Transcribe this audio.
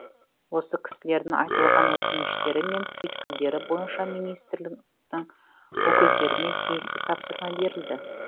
осы кісілердің айтылған өтініштері мен түйткілдері бойынша министрліктің өкілдеріне тиісті тапсырма берілді